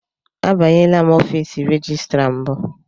Abanyela ọfiisi rejistra mbụ.